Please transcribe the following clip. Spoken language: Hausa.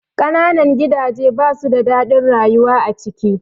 Ƙananan gidaje ba su da daɗin rayuwa a ciki